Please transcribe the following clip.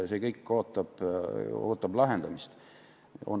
See kõik ootab lahendamist.